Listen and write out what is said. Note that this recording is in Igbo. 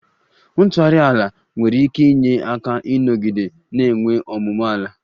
Ntughari ala nwere ike inye aka ịnọgide na-enwe ọmụmụ ala